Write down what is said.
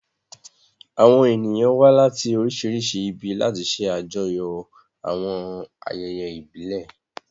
Àwọn ènìyàn wá láti oríṣiríṣi ibi láti ṣe àjọyọ̀ àwọn ayẹyẹ ìbílẹ̀.